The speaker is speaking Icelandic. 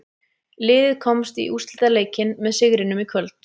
Liðið komst í úrslitaleikinn með sigrinum í kvöld.